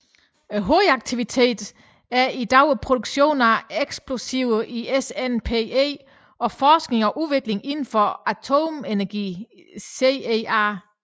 Hovedaktiviteten er i dag produktionen af eksplosiver i SNPE og forskning og udvikling indenfor atomenergien i CEA